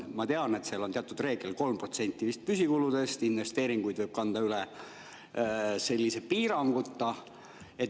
Ma tean, et seal on teatud reegel, vist 3% püsikuludest investeeringuid võib piiranguta üle kanda.